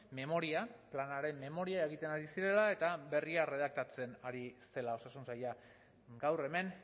memoria planaren memoria egiten ari zirela eta berria erredaktatzen ari zela osasun saila gaur hemen